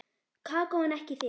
Kókó en ekki þig.